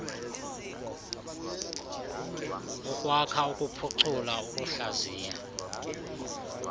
ukwakha ukuphucula ukuhlaziya